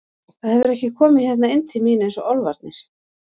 Það hefur ekki komið hérna inn til mín eins og álfarnir.